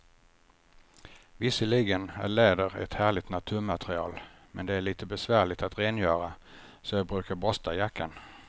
Visserligen är läder ett härligt naturmaterial, men det är lite besvärligt att rengöra, så jag brukar borsta jackan.